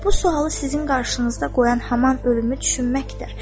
Bu sualı sizin qarşınızda qoyan haman ölümü düşünməkdir.